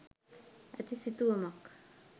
ඇති සිතුවමක්.